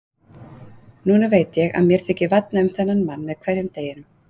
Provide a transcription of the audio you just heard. Núna veit ég að mér þykir vænna um þennan mann með hverjum deginum.